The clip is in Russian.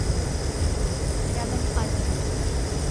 рядом азимут